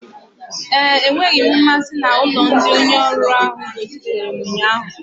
Mba, enweghị m mmasị na ụlọ ndị onye ọrụ ahụ gosipụtara m ụnyaahụ